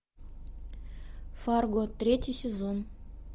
фарго третий сезон